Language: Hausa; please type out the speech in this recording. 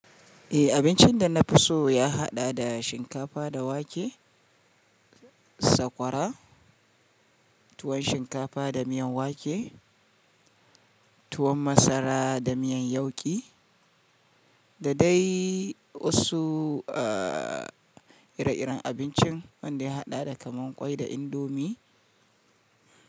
Eh abincin da na fi so ya haɗa da shinkafa da wake, sakwara, tuwon shinkafa da miyan wake, tuwon masara da miyan yauƙi, da dai wasu ire-iren abincin wanda ya haɗa da kamar kwai da indomi.